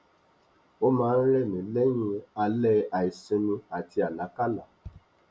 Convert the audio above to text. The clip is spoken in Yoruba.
o máa n rẹ mí lẹyìn alẹ àìsinmi àti àlákálá